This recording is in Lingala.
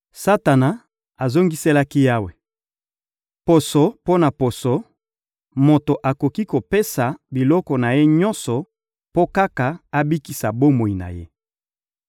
Satana azongiselaki Yawe: — Poso mpo na poso: moto akoki kopesa biloko na ye nyonso mpo kaka abikisa bomoi na ye.